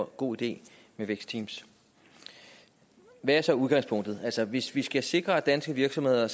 god idé med vækstteams hvad er så udgangspunktet hvis vi skal sikre at danske virksomheder